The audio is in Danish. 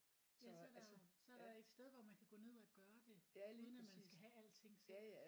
Ja så der så er der et sted hvor man kan gå ned og gøre det uden at man skal have alting selv